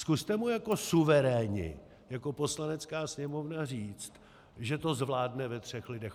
Zkuste mu jako suveréni, jako Poslanecká sněmovna, říct, že to zvládne ve třech lidech.